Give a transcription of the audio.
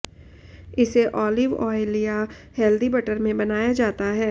इसेऑलिव ऑयलया healthy butter में बनाया जाता है